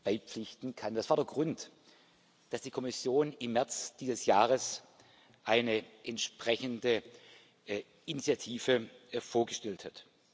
beipflichten kann. Das war der Grund dafür, dass die Kommission im März dieses Jahres eine entsprechende Initiative vorgestellt hat.